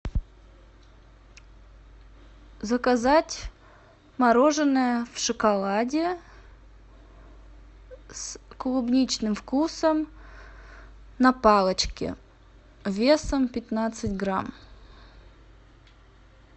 заказать мороженое в шоколаде с клубничным вкусом на палочке весом пятнадцать грамм